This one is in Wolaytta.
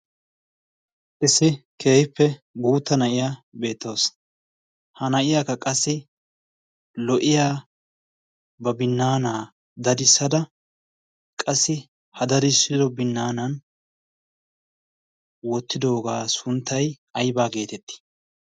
issi keehippe guutta na'iya beettoos. ha na'iyaakka qassi lo"iya ba binnaanaa darissada qassi ha darissido binnaanan wottidoogaa sunttai aibaa geetettii?